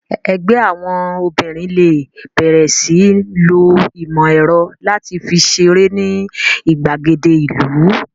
Ẹgbẹ́ àwọn obìnrin lè bẹ̀rẹ̀ sí ń lo ìmọ̀ ẹ̀rọ láti fi ṣeré ní ìgbàgede ìlú